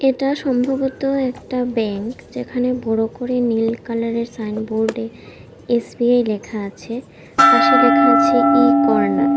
এটা সম্ভবত একটা ব্যাংক যেখানে বড় করে নীল কালার এর সাইনবোর্ড এ এস_বি_আই লেখা আছে পাশে লেখা আছে ই-কর্নার ।